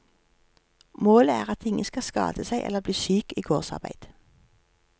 Målet er at ingen skal skade seg eller bli syk i gårdsarbeid.